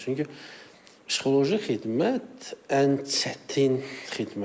Çünki psixoloji xidmət ən çətin xidmətdir.